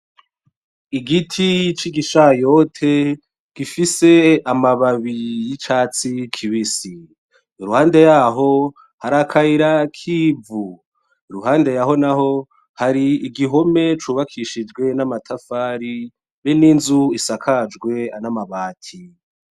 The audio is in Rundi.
Igiti c'igishayote gifise amababi y'icatsi kibisi, iruhande yaho hari akayira k'ivu, iruhande yaho naho hari igihome cubakishijwe n'amatafari be n'inzu isakajwe n'amabati.